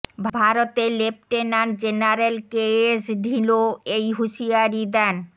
ভারতের lieutenant general K S Dhillon এই হুঁশিয়ারি দেন